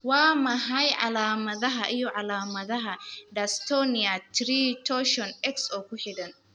Waa maxay calaamadaha iyo calaamadaha Dystonia 3, torsion, X oo ku xidhan?